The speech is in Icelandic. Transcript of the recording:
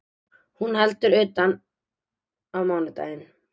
Hún heldur utan á mánudaginn